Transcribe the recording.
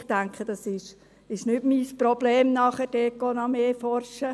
Ich denke, es ist nicht mein Problem, dort nachher noch mehr nachzuforschen.